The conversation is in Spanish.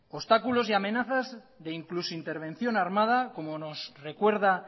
obstáculos y amenazas de incluso intervención armada como nos recuerda